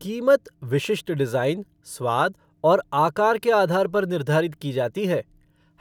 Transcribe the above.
कीमत विशिष्ट डिज़ाइन, स्वाद और आकार के आधार पर निर्धारित की जाती है।